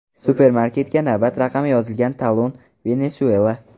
Supermarketga navbat raqami yozilgan talon, Venesuela.